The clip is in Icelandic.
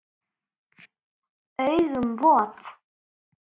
Augun vot.